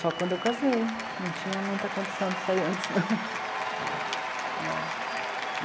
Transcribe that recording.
Só quando eu casei, não tinha muita condição de sair antes, não.